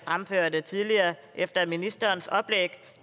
fremførte tidligere efter ministerens oplæg at